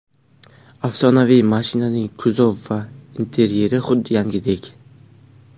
Afsonaviy mashinaning kuzov va interyeri xuddi yangidek.